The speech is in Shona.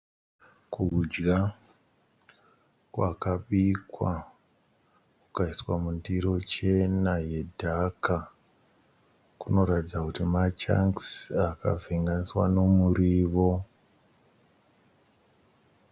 Kudya kwakabikwa kukaiswa mundiro chena yedhaka. Kunoratidza kuti machangisi akavhenganiswa nemurivo.